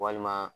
Walima